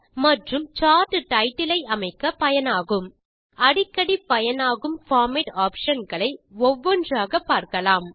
மற்றும் chart title ஐ அமைக்க பயனாகும் அடிக்கடி பயனாகும் பார்மேட்டிங் ஆப்ஷன் களை ஒவ்வொன்றாக பார்க்கலாம்